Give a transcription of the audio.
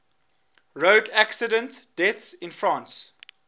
road accident deaths in france